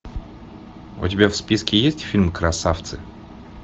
у тебя в списке есть фильм красавцы